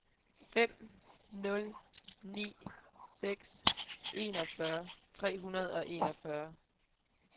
fem nul ni seks enogfyrre tre hundrede og enogfyrre